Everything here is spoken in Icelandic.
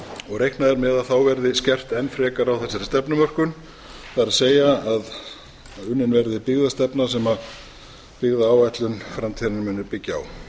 og reiknað er með að þá verði skert enn frekar á þessari stefnumörkun það er að unnin verði byggðastefna sem byggðaáætlun framtíðarinnar muni byggja á